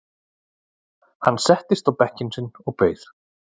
Hann settist á bekkinn sinn og beið.